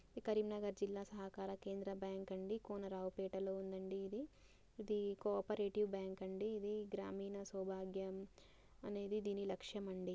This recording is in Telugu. ఈ కరీంనగర్ జిల్లా సహకార కేంద్ర బ్యాంక్ అండి కోనరావుపేట లో ఉందండి ఇది. ఇది కో -ఆపరేటివ్ బ్యాంక్ అండి ఇది. గ్రామీణ సౌభాగ్యం అనేది దేని లక్ష్యం అండి.